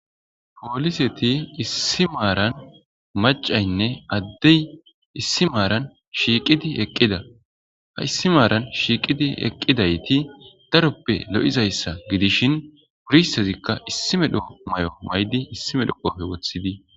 pooliseti issi maaran macaynne addey issi maaran shiiqidi eqqida ha issi maaran shiiqidi eqqidayti daroppe lo'izayssa gidishin wurissezikka issi medhoo mayo maydi issi medho qope woththidi